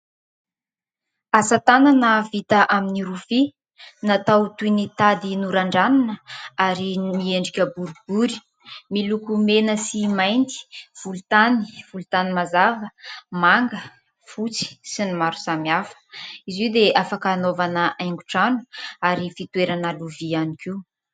asatanana vita amin'ny rofia natao toy ny tady noran-dranina ary miendrika boribory miloko mena sy mainty volontany volontany mazava manga fotsy sy ny maro samihafa izy io dia afaka hanaovana haingon-trano ary fitoerana lovia ihany koa